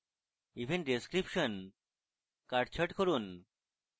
event description কাট ছাট করুন